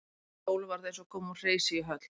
Fyrir Sólu var þetta eins og að koma úr hreysi í höll.